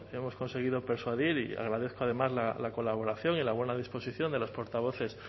hemos conseguido persuadir y agradezco además la colaboración y la buena disposición de los portavoces